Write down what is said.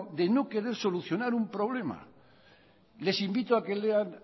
de no querer solucionar un problema les invito a que lean